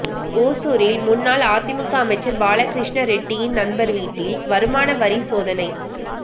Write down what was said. ஒசூரில் முன்னாள் அதிமுக அமைச்சர் பாலகிருஷ்ண ரெட்டியின் நண்பர் வீட்டில் வருமானவரி சோதனை